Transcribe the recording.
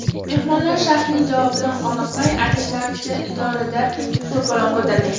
Mehmonlar shayxning javobidan qoniqmay, aytishlaricha, idorada to‘polon ko‘targan.